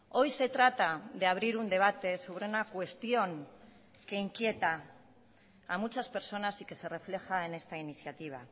hoy se trata de abrir un debate sobre una cuestión que inquieta a muchas personas y que se refleja en esta iniciativa